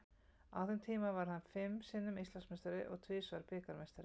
Á þeim tíma varð hann fimm sinnum Íslandsmeistari og tvisvar bikarmeistari.